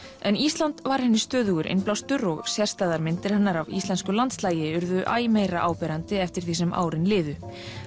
en Ísland var henni stöðugur innblástur og sérstæðar myndir hennar af íslensku landslagi urðu æ meira áberandi eftir því sem árin liðu